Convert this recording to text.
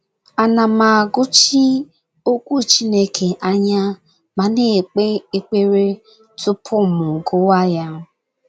A na m- agụchi Okwu Chineke anya ma na - ekpe ekpere tupu m gụwa ya? ’